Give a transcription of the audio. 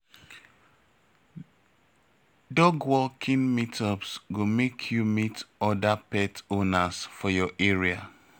Dog walking meetups go make you meet other pet owners for your area.